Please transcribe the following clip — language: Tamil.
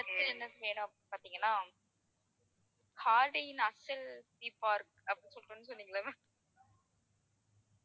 அடுத்து என்ன செய்யணும் அப்படின்னு பாத்தீங்கன்னா அப்படின்னு சொல்றேன்னு சொன்னீங்கல்ல ma'am